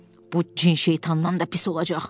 Bu cin şeytandan da pis olacaq.